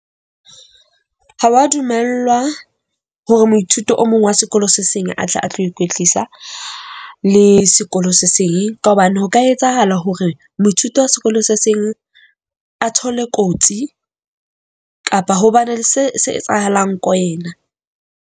Ha wa dumellwa hore moithuti o mong wa sekolo se seng a tle a tlo ikwetlisa le sekolo se seng, ka hobane ho ka etsahala hore moithuti wa sekolo se seng a thole kotsi kapa ho bane se se etsahalang ko wena.